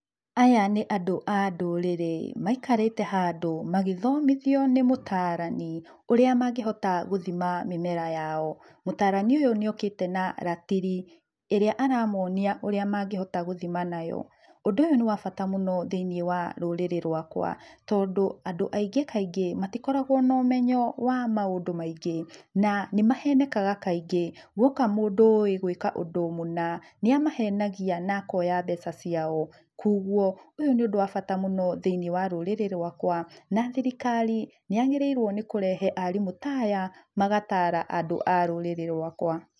Aya nĩ andũ a ndũrĩrĩ, maikarĩte handũ magĩthomithio nĩ mũtaarani, ũrĩa mangĩhota gũthima mĩmera yao. Mũtaarani ũyũ nĩokĩte na ratiri ĩrĩa aramonia ũrĩa mangĩhota gũthima nayo. Ũndũ ũyũ nĩ wa bata mũno thĩiniĩ wa rũrĩrĩ rũakwa tondũ andũ aingĩ kaingĩ matikoragũo na ũmenyo wa maũndu maingĩ. Na nĩmahenekaga kaingĩ, guoka mũndũ ũĩ gũĩka ũndũ mũna niamahenagia na akoya mbeca ciao. Kuoguo, ũyũ nĩ ũndũ wa bata mũno thĩiniĩ wa rũrĩrĩ rũakwa na thirikari nĩyagĩrĩirũo nĩ kũrehe arimũ ta aya, magataara andũ a rũrĩrĩ rũakũa.